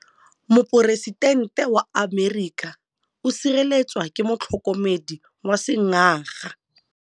Poresitêntê wa Amerika o sireletswa ke motlhokomedi wa sengaga.